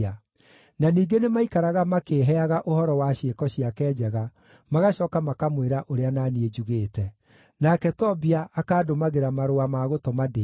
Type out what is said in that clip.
Na ningĩ nĩmaikaraga makĩĩheaga ũhoro wa ciĩko ciake njega magacooka makamwĩra ũrĩa na niĩ njugĩte. Nake Tobia akaandũmagĩra marũa ma gũtũma ndĩĩtigĩre.